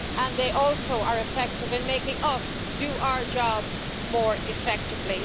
They are also effective in making us do our job more effectively.